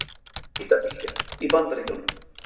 Hitabylgja í Bandaríkjunum